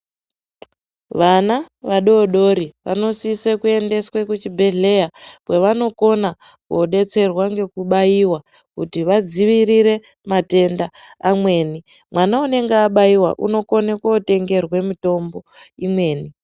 Vana vadodori vanosise kuendeswe kuchibhedhleya kwavanokona kodetserwa ngekubaiwa kuti vadzivirire matenda amweni mwana unenge abaiwa unokone kotengerwe mitombo imweni.